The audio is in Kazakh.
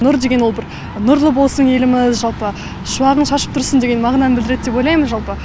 нұр деген ол бір нұрлы болсын еліміз жалпы шуағын шашып тұрсын деген мағынаны білдіреді деп ойлаймын жалпы